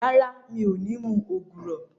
Rárá, mi ò ní mu ògùrọ̀